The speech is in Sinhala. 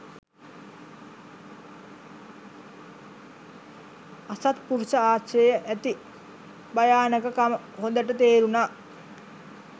අසත්පුරුෂ ආශ්‍රයේ ඇති භයානකකම හොඳට තේරුනා.